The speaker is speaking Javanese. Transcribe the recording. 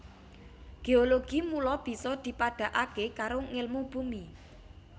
Géologi mula bisa dipadhakaké karo ngèlmu bumi